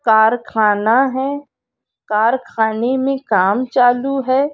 कारखाना है कारखाने में काम चालू है।